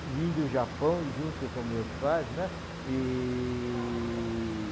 vim do Japão e junto com meus pais, né? E...